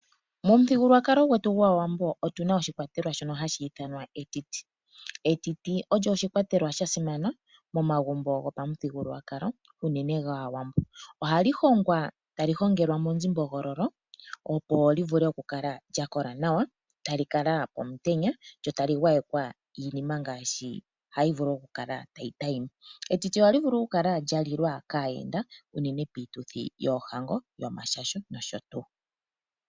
Momuthigululwakalo gwetu gwaawambo otuna oshikwatelwa shono hashi ithanwa etiti. Etiti olyo oshikwatelwa sha simana momagumbo gopamuthigululwakalo unene gaawambo . Ohali hongwa tali hongelwa monzimbogo opo livule okukala lya kola nawa ,tali kala pomutenya lyo tali gwayekwa iinima ngaashi hayi vulu okukala tali adhima. Etiti ohali vulu okukala lya lilwa kaayenda unene piituthi yoohango, yomashasho nosho tuu.